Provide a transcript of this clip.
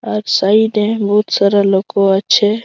আজ সাইড -এ বহুত সারা লোকও আছে।